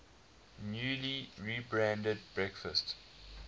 newly rebranded breakfast